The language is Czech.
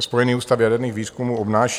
Spojený ústav jaderných výzkumů obnáší.